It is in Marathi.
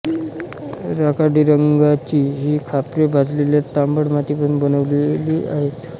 राखाडी रंगाची ही खापरे भाजलेल्या तांबट मातीपासून बनवलेली आहेत